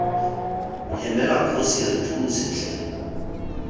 hemela kgosi re thuse tlhe